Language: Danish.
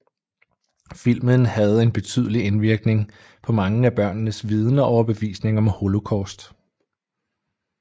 Filmen havde en betydelig indvirkning på mange af børnenes viden og overbevisning om holocaust